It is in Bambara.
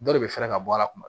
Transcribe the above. Dɔ de bɛ fɛɛrɛ ka bɔ a la kuma